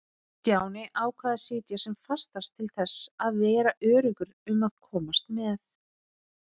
Stjáni ákvað að sitja sem fastast til þess að vera öruggur um að komast með.